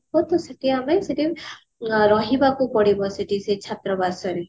ହବ ତ ସେଠି ଆମେ ସେଠି ରହିବାକୁ ପଡିବ ସେଠି ସେଇ ଛାତ୍ରାବାସରେ